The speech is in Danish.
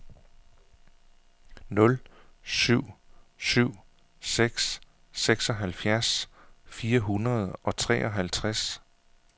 nul syv syv seks seksoghalvfjerds fire hundrede og treoghalvtreds